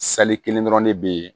kelen dɔrɔn de be yen